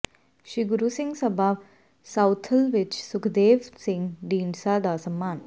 ਸ੍ਰੀ Guru Singh Sabha Southall ਵਿਖੇ ਸੁਖਦੇਵ ਸਿੰਘ ਢੀਂਡਸਾ ਦਾ ਸਨਮਾਨ